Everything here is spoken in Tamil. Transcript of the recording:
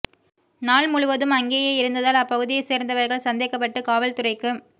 நாள் முழுவதும் அங்கேயே இருந்ததால் அந்த பகுதியை சேர்ந்தவர்கள் சந்தேகப்பட்டு காவல்துறைக்கு